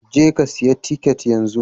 Jeka siya tiket yanzu